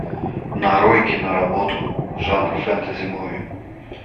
нарой киноработу жанр фэнтези муви